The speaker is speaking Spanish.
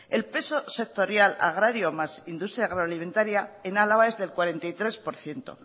el peso sectorial agrario más industria agroalimentaria en álava es del cuarenta y tres por ciento